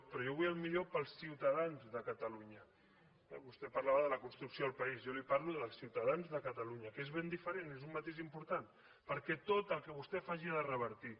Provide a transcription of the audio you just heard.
però jo vull el millor per als ciutadans de catalunya eh vostè parlava de la construcció del país jo li parlo dels ciutadans de catalunya que és ben diferent és un matís important perquè tot el que vostè faci ha de revertir